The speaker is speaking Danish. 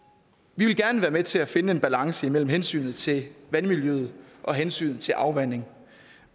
vi vil gerne være med til at finde en balance imellem hensynet til vandmiljøet og hensynet til afvanding